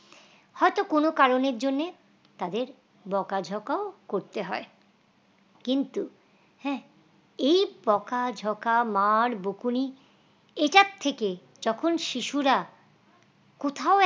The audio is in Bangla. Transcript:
হয়তো কোন কারনের জন্য তাদের বকাঝকাও করতে হয় কিন্তু হ্যাঁ এই বকাঝকা মার্ বকুনি এটার থেকে যখন শিশুরা কোথাও